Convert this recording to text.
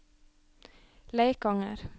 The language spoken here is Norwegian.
Leikanger